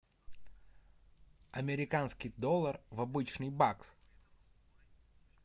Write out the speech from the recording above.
американский доллар в обычный бакс